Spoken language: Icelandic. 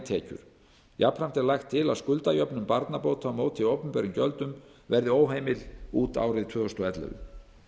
tekjur jafnframt er lagt til að skuldajöfnun barnabóta á móti opinberum gjöldum verði óheimil út árið tvö þúsund og ellefu